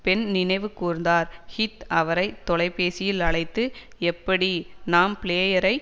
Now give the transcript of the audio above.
பெண் நினைவு கூர்ந்தார் ஹீத் அவரை தொலைபேசியில் அழைத்து எப்படி நாம் பிளேயரை